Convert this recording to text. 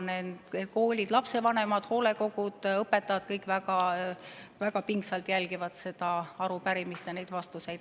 Koolid, lapsevanemad, hoolekogud, õpetajad ja kõik väga pingsalt jälgivad seda arupärimist ja neid vastuseid.